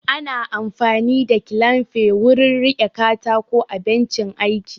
Ana amfani da kilamfi wurin riƙe katako a bencin aiki